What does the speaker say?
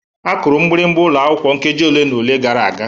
Akuru mgbịrịgba ụlọ akwụkwọ nkeji ole na ole gara aga.